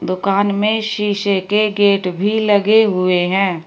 दुकान में शीशे के गेट भी लगे हुए हैं।